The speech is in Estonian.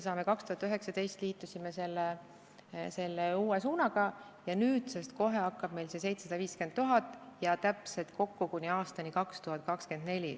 Kui me 2019 liitume selle uue suunaga, siis kohe hakkab meil olema 750 000 eurot ja kokku kuni aastani 2024.